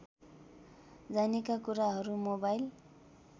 जानेका कुराहरू मोबाइल